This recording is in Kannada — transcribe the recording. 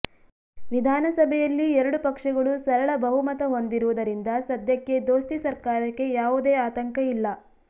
ವಿಧಾನಸಭೆಯಲ್ಲಿ ಎರಡು ಪಕ್ಷಗಳು ಸರಳ ಬಹುಮತ ಹೊಂದಿರುವುದರಿಂದ ಸದ್ಯಕ್ಕೆ ದೋಸ್ತಿ ಸರ್ಕಾರಕ್ಕೆ ಯಾವುದೇ ಆತಂಕ ಇಲ್ಲ